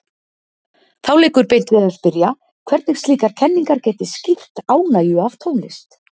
Þá liggur beint við að spyrja, hvernig slíkar kenningar geti skýrt ánægju af tónlist.